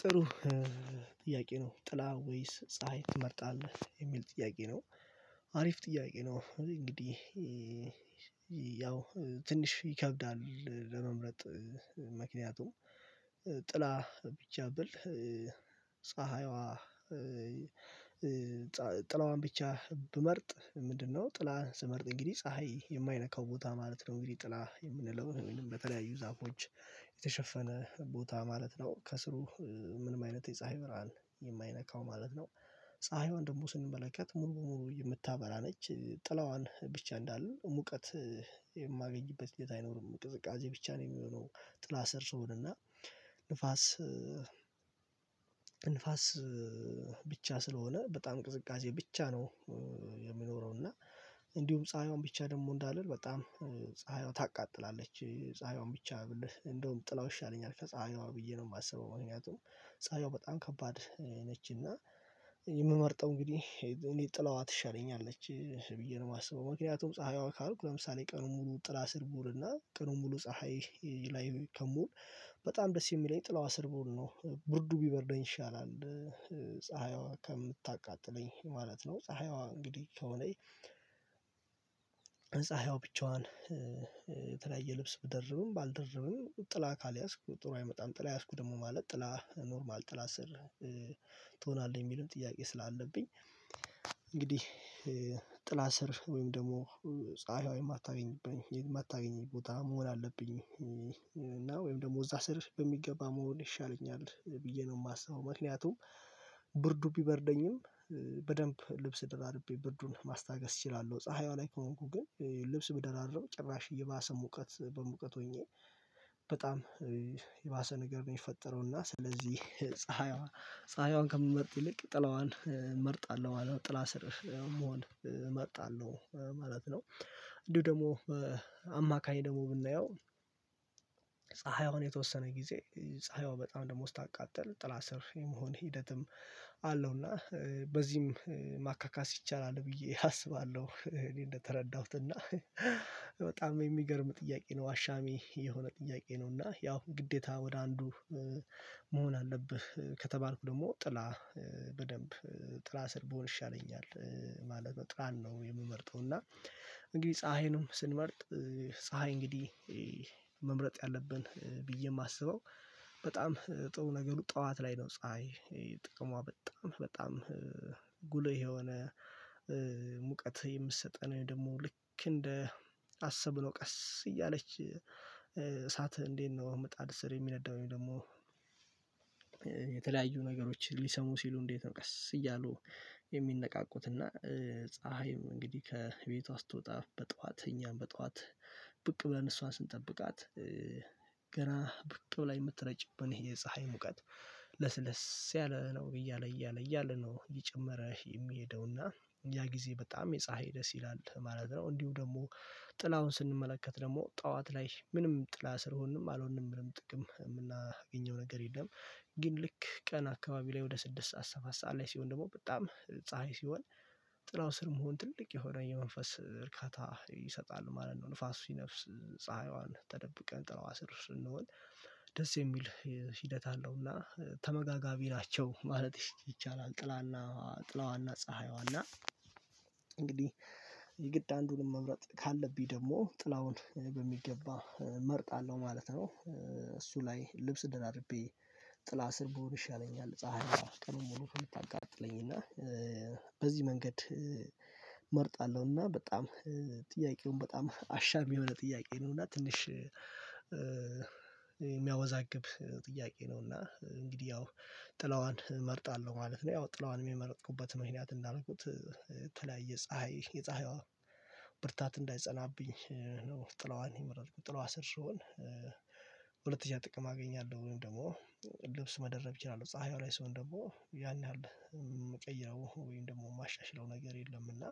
ጥሩ። ጥያቄ ነው ጥላ ወይስ ፀሀይ ትመርጣለህ የሚል ጥያቄ ነው? አሪፍ ጥያቄ ነው እንግዲህ ያው ትንሽ ይከብዳል ለመምረጥ ምክንያቱም ጥላ ቢቻ ብል። ፀሀይዋ ጥላዋን ብቻ ብመርጥ ምንድነው? ጥላ ስመርጥ እንግዲህ ፀሀይ የማይነካው ቦታ ማለት ነው። እንግዲህ ጥላ የምንለው በተለያዩ ዛፎች የተሸፈነ ቦታ ማለት ነው። ከስሩ ምንም አይነት የፀሀይ ብርሃን የማይነካው ማለት ነው። ፀሀይዋን ደግሞ ስንመለከት ሙሉ በሙሉ የምታበራ ነች ጥላዋን ብቻ እንዳለ ሙቀት የማገኝበት ሂደት አይኖርም ቅዝቃዜ ብቻ ነው። የሚሆነው ጥላ ሰር ስሆን እና ንፋስ ንፋስ ብቻ ስለሆነ በጣም ቅዝቃዜ ብቻ ነው። የሚኖረው እና እንዲሁም ፀሀይዋን ብቻ ደግሞ እንዳልል በጣም ፀሀይዋ ታቃጥላለች ፀሀይዋን ብቻ ብል እንደውም ጥላው ይሻለኛል ከፀሀይዋ ብዬ ነው የማስበው። ምክንያቱም ፀሀይወ በጣም ከባድ ነችና የምመርጠው እንግዲህ እኔ ጥለዋ ትሸለኛለች ብዬ ነው የማስበው። ምክንያቱም ፀሀይዋ ካልኩ ለምሳሌ ቀኑን ሙሉ ጥላ ስር ቡውልና ቀኑን ሙሉ ፀሀይ ላይ ከምውል በጣም ደስ የሚለኝ ጥላዋ ስር ብዉል ነው ብርዱ ቢበርደኝ ይሻላል። ፀሀይዋ ከምታቃጥለኝ ማለት ነው። ፀሀይዋ እንግዲህ ከሆነች ፀሀይዋ ብቸዋን የተለያየ ልብስ ብደርብም ባልደርብም ጥላ ካልያዝኩ ጥሩ አይመጣም ጥላ ያዝኩ ደግሞ ማለት ጥላ ኖርማል ጥላ ስር ትሆናለህ። የሚለውም ጥያቄ ስላለብኝ እንግዲህ ጥለ ስር ስር ወይም ደግሞ ፀሃዪዋ የማታገኝብኝ የማታገኝ ቦታ መሆን አለብኝ። እና ወይም ደግሞ እዛ ሰር በሚገባ መሆን ይሻለኛል ብዬ ነው የማስበው። ምክንያቱም ብርዱ ቢበርደኝም በደንብ ልብስ ደራረቤ ብርዱን ማስታገስ እችላለሁ። ፀሀይዋ ላይ ከሆንኩ ግን ልብስ ብደራረብ ጭራሽ የባሰ ሙቀት በሙቀት ሆኜ በጣም የባሰ ነገር ነው የምፈጠረው። እና ስለዚህ ፀሀይዋን ከምመርጥ ይልቅ ጥላዋን እመርጣለሁ ጥላ ስር መሆን መርጣለሁ ማለት ነው። እንዲሁ ደግሞ አማካኝ ደግሞ ብናየው ፀሀይ የተወሰነ ጊዜ ፀሀይዋ በጣም ደግሞ ስታቃጥል ጥላ ስር የመሆን ሂደትም አለውና በዚህም ማካካስ ይቻላል ብዬ አስባለሁ። እኔ እንደተረዳሁትና በጣም የሚገርም ጥያቄ ነው አሻሚ የሆነ ጥያቄ ነው እና ያው ግዴታ ወደ አንዱ መሆን አለብህ ከተባልኩ ደግሞ ጥላ በደንብ ጥላ ስር በሆን ይሻለኛል ማለት ነው። ጥላን ነው የምመርጠው። እና እንግዲህ ፀሀይንም ስንመርጥ ፀሀይ እንግዲህ መምረጥ ያለብን ብዬ የማስበው በጣም ጥሩ ነገሩ ጠዋት ላይ ነው። ፀሀይ ጥቅሟ በጣም በጣም ጉልህ የሆነ ሙቀት የምትሰጠን ወይም ደግሞ ልክ እንደ አሰብ ብሎ ቀስ እያለች እሳት እንዴት ነው? መጣድ ስር የሚነዳው ወይም ደግሞ ነገሮች ሊሰሙ ሲሉ እንዴት ነው? ቀስ እያሉ የሚነቃቁት እና ፀሀይም እንግዲህ ከቤቷ ስትወጣ በጠዋት እኛም በጠዋት ብቅ ብለን እሷን ስንጠብቃት ገና ብቅ ብለ የምትረጭብን የፀሀይ ሙቀት ለስለስ ያለ ነው እያለ እያለ እያለ ነው እያጨመረ የሚሄደውና ያ ጊዜ በጣም የፀሀይ ደስ ይላል ማለት ነው። እንዲሁ ደግሞ ጥላውን ስንመለከት ደግሞ ጠዋት ላይ ምንም ጥላ ስር ሆንንም አልሆንንም ምንም ጥቅም የምናገኘው ነገር የለም። ግን ልክ ቀን አካባቢ ላይ ወደ ስድስት ሰዓት ሰባት ሰዓት ላይ ሲሆን ደግሞ በጣም ፀሀይ ሲሆን ጥላው ስር መሆን ትልቅ የሆነ የመንፈስ እርካታ ይሰጣል ማለት ነው። ንፋስ ሲነፍስ ፀሀይዋን ተደብቀን ጥለዋ ስር ስንሆን ደስ የሚል ሂደት አለውና ተመጋጋቢ ናቸው ማለት ይቻላል። ጥላና ጥላዋና ፀሀይዋና እንግዲህ የግድ አንዱን መምረጥ ካለብኝ ደግሞ ጥላውን በሚገባ መርጣለሁ ማለት ነው። እሱ ላይ ልብስ ደረርቤ ጥላ ስር ብሆን ይሻለኛል ፀሀይ ቀኑን ሙሉ ከምታቀጥለኝ እና በዚህ መንገድ እመርጣለሁና በጣም ጥያቄውን በጣም አሻም የሆነ ጥያቄ ነው። እና ትንሽ የሚያወዛግብ ጥያቄ ነውና እንግዲህ ያው ጥላዋን እመርጣለሁ ማለት ነው። ያው ጥላዋን የመረጥኩበት ምክንያት እንዳልኩት የተለያየ ፀሀይ የፀሀይዋ ብርታት እንዳይጸናብኝ ነው። ጥለዋን የመረጥኩት ጥላዋ ስር ስሆን ሁለተኛ ጥቅም አገኛለሁ። ወይም ደግሞ ልብስ መደረብ እችላለሁ ፀሀይዋ ላይ ስሆን ደግሞ ያን ያህል የምቀይረው ወይም ደግሞ የማሻሽለው ነገር የለም። እና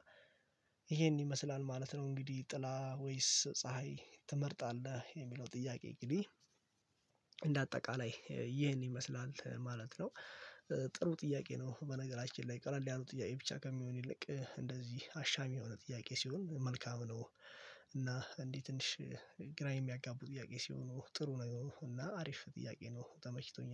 ይሄን ይመስላል ማለት ነው። እንግዲህ ጥላ ወይስ ፀሀይ ትመርጣለህ? የሚለው ጥያቄ እንግድህ እንደ አጠቃላይ ይህን ይመስላል ማለት ነው። ጥሩ ጥያቄ ነው በነገራችን ላይ ቀለል ያሉ ጥያቄ ብቻ ከሚሆን ይልቅ እንደዚህ አሻሚ የሆነ ጥያቄ ሲሆን መልካም ነው። እና እንዲህ ትንሽ ግራ የሚያጋቡ ጥያቄ ሲሆኑ ጥሩ ነገሮች እና አሪፍ ጥያቄ ነው። ተመችቶኛል